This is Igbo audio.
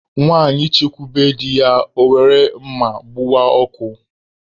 Nwanyị chekwube di ya, ọ were mma gbuwaa okwu